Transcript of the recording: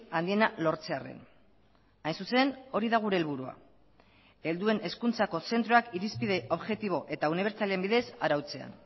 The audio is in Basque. handiena lortzearren hain zuzen hori da gure helburua helduen hezkuntzako zentroak irizpide objektibo eta unibertsalen bidez arautzea